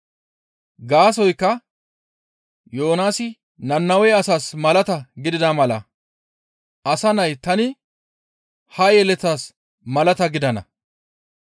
Gaasoykka Yoonaasi Nannawe asaas malata gidida mala asa nay tani ha yeletas malaata gidana.